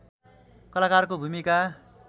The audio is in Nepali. कलाकारको भूमिका